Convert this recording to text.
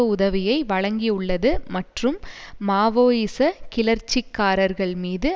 உதவியை வழங்கியுள்ளது மற்றும் மாவோயிச கிளர்ச்சிகாரர்கள் மீது